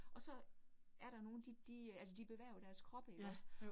Og så er der nogle de de øh altså de bevæger jo deres kroppe ikke også